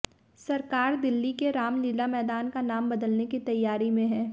सरकार दिल्ली के रामलीला मैदान का नाम बदलने की तैयारी में है